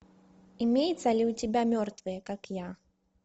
имеется ли у тебя мертвые как я